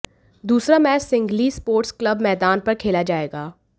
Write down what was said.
दूसरा match Sinhalese sports club मैदान पर खेला जाएगा